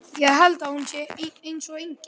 Ég held að hún sé eins og engill.